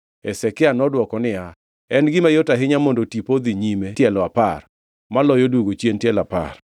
Hezekia nodwoke niya, “En gima yot ahinya mondo tipo odhi nyime tielo apar, maloyo duogo chien tielo apar.”